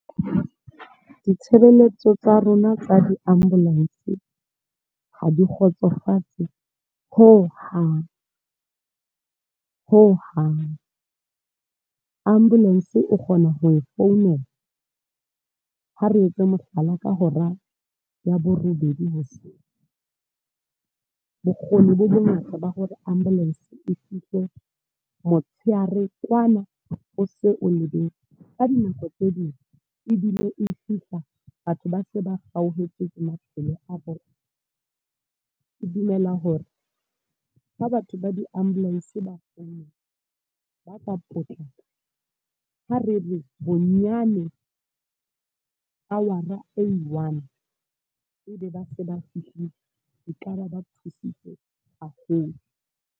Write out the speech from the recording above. Ditshebeletso tsa rona tsa di-ambulance, ha di kgotsofatse ho hang. Ho hang. Ambulance o kgona ho e founela. Ha re etse mohlala ka hora ya borobedi hoseng. Bokgoni bo bongata ba hore ambulance e fihle motshehare kwana, o se o lebetse. Ka dinako tse ding, ebile e fihla batho ba se ba hauhetse ke maphelo a bona. Ke dumela hore, ka batho ba di ambulance ba . Ha re re bonyane hour e one, ebe ba se ba fihlile. E kaba ba thusitse haholo.